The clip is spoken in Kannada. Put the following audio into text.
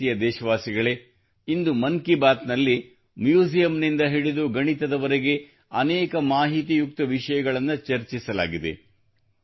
ನನ್ನ ಪ್ರೀತಿಯ ದೇಶವಾಸಿಗಳೇ ಇಂದು ಮನ್ ಕಿ ಬಾತ್ ನಲ್ಲಿ ಮ್ಯೂಸಿಯಂನಿಂದ ಹಿಡಿದು ಗಣಿತದವರೆಗೆ ಅನೇಕ ಮಾಹಿತಿಯುಕ್ತ ವಿಷಯಗಳನ್ನು ಚರ್ಚಿಸಲಾಗಿದೆ